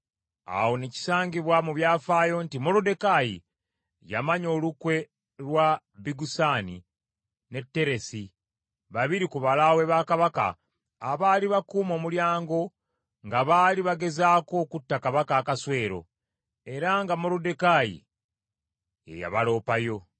Awo ne kisangibwa mu byafaayo nti Moluddekaayi yamanya olukwe lwa Bigusani ne Teresi babiri ku balaawe ba Kabaka abaali bakuuma omulyango nga baali bagezaako okutta Kabaka Akaswero, era nga Moluddekaayi ye yabaloopayo.